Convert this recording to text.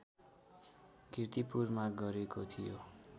कीर्तिपुरमा गरेको थियो